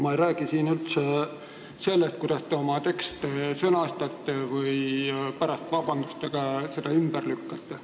Ma ei räägi siin praegu sellest, kuidas te oma tekste sõnastate ja pärast vabandustega oma sõnu ümber lükkate.